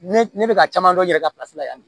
Ne ne bɛ ka caman dɔ yɛrɛ ka la yan